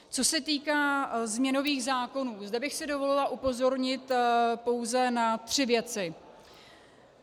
Co se týká změnových zákonů, zde bych si dovolila upozornit pouze na tři věci.